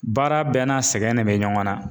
Baara bɛɛ n'a sɛgɛnnen bɛ ɲɔgɔn na